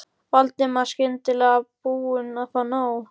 Valdimar, skyndilega búinn að fá nóg.